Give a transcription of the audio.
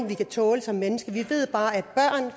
vi kan tåle som mennesker vi ved bare at